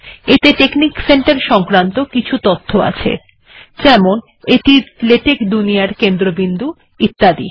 এখানে technic centre বিষয়ে কিছু তথ্য জানানো আছে যেমন এটি আপনার লেটেক দুনিয়ার কেন্দ্রবিন্দু ইত্যাদি